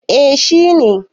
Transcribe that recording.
eh shi ne